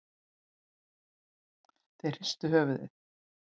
Þeir hristu höfuðið.